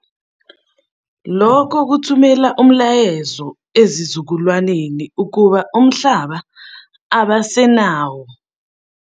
Lokho kuthumela umlayezo ezizukulwaneni ukuba umhlaba abasenawo.